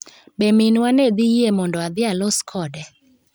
Be minwa ne dhi yie mondo adhi alos kode?